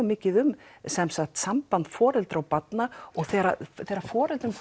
mikið um samband foreldra og barna og þegar þegar foreldrum